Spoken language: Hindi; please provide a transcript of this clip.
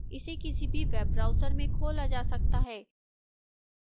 इसे किसी भी web browser में खोला जा सकता है